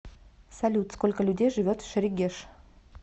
салют сколько людей живет в шерегеш